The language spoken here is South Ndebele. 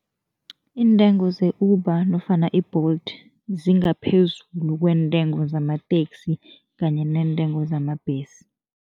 Iintengo ze-Uber nofana i-Bolt zingaphezulu kweentengo zamateksi kanye neentengo zamabhesi.